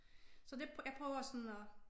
Så det jeg prøver sådan at